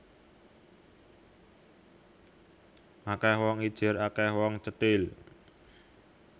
Akeh wong ijir akeh wong cethil